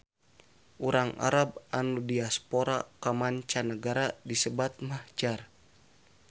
Urang arab anu diaspora ka manca nagara disebat mahjar